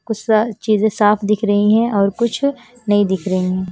कुछ सा चीजें साफ दिख रही हैं और कुछ नहीं दिख रही हैं।